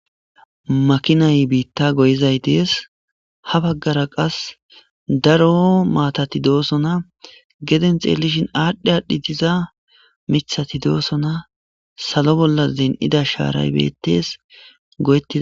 Makinay biitta goyizay dees ha baggara qas daro maatati doosona geden xeellishin aadhdhi aadhdhi diza mithati doosona salo bolla zen'ida shaaray beettes goyettis.